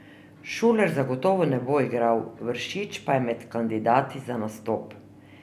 Šuler zagotovo ne bo igral, Vršič pa je med kandidati za nastop.